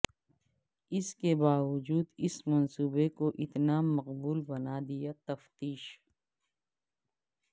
اس کے باوجود اس منصوبے کو اتنا مقبول بنا دیا تفتیش